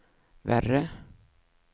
värre